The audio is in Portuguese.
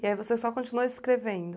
E aí você só continuou escrevendo.